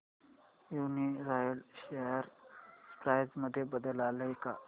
Uniroyal share price मध्ये बदल आलाय का